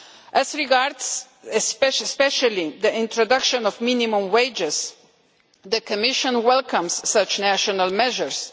As regards especially the introduction of minimum wages, the Commission welcomes such national measures.